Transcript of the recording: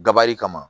Dabali kama